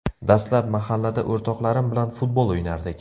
Dastlab mahallada o‘rtoqlarim bilan futbol o‘ynardik.